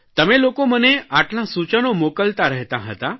તમે લોકો મને આટલાં સૂચનો મોકલતાં રહેતાં હતાં